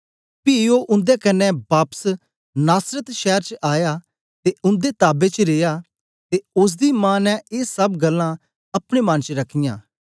पी ओ उन्दे कन्ने बापस नासरत शैर च आया ते उन्दे ताबे च रिया ते ओसदी मां ने ए सब गल्लां अपने मन च रखियां